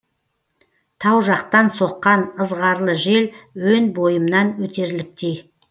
тау жақтан соққан ызғарлы жел өн бойымнан өтерліктей